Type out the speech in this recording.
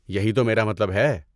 یہی تو میرا مطلب ہے۔